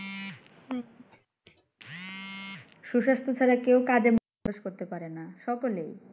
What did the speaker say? সুস্বাস্থ্য ছাড়া কেউ কাজে মনোনিবেশ করতে পারেনা। সকলেই।